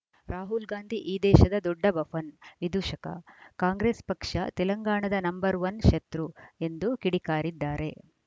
ರಾಹುಲ್‌ ಗಾಂಧಿ ಈ ದೇಶದ ದೊಡ್ಡ ಬಫನ್‌ ವಿದೂಷಕ ಕಾಂಗ್ರೆಸ್‌ ಪಕ್ಷ ತೆಲಂಗಾಣದ ನಂಬರ್‌ ಒನ್ ಶತ್ರು ಎಂದು ಕಿಡಿಕಾರಿದ್ದಾರೆ